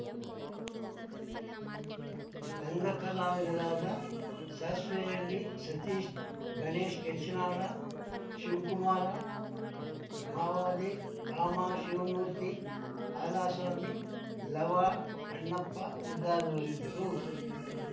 ರಂಗಕಲಾವಿದರಾದ ಸಾಸ್ವೇಹಳ್ಳಿ ಸತೀಶ್‌ ಗಣೇಶ್‌ ಕೆಂಚನಾಳ ಶಿವಕುಮಾರ ಮಾವಲಿ ಅಮಾ ಶಿವಮೂರ್ತಿ ಹಾಲಸ್ವಾಮಿ ಲವ ಅಣ್ಣಪ್ಪ ಮೊದಲಾದವರಿದ್ದರು